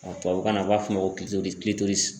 tubabukan na u b'a fɔ ko